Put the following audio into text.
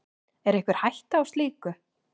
Er einhver hætta á slíku?